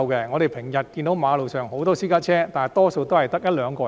我們日常看見馬路上很多私家車，但車裏大多只有一兩名乘客。